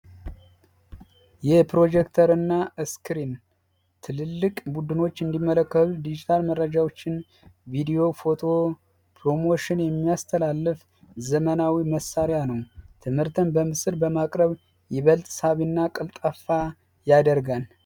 የፕሮጀክተርና እስክሪን ትልልቅ ቡድኖች እንዲመለከቱ ዲጂታል መረጃዎችን ቪድዮ ፎቶ ኘሮሞሽን የሚያስተላልፍ ዘመናዊ መሳሪያ ነው ትምህርተም በምስል በማቅ በል ሳቢና ቀልጣፋ ያደርጋል